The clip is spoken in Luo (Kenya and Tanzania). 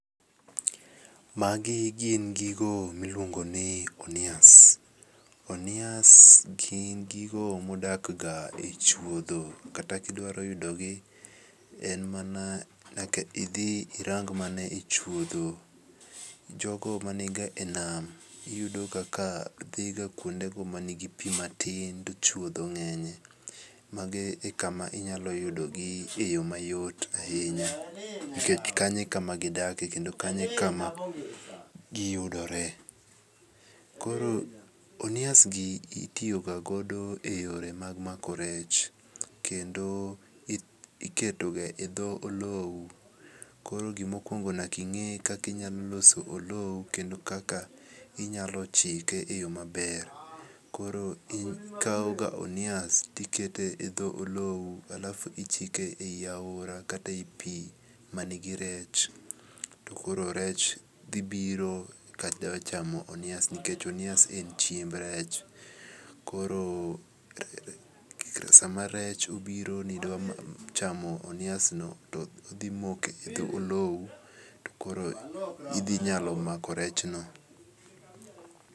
Magi gin gigo miluongo ni onias. Onias gin gigo modak ga e chuodho kata kidwaro yudo gi en mana nyaka idhi irang mana e chuodho. Jogo maniga e nam iyudo kaka dhi ga kuonde go mani gi pi matin to chuodho ng'enye. Mage e kama inyalo yudo gi e yo mayot ahinya. Nikech kanyo e kama gidakie kendo kanyo e kama giyudore. Koro onias gi itiyoga godo e yore mag mako rech kendo iketo ga e dho olow. Koro gimokuongo nyaka ing'e kaka inyalo loso olow kendo kaka inyalo chike e yo maber. Koro ikaw ga onias tikete e dho olow alafu ichike e yi aora kata e yi pi manigi rech. To koro rech dhi biro ka dwa chamo onias nikech onias en chiemb rech. Koro sama rech obiro ni dwa chamo onias no to odhi moko e dho olow to koro idhi nyalo mako rech no.